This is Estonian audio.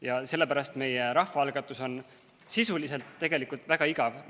Ja sellepärast meie rahvaalgatus on sisuliselt tegelikult väga igav.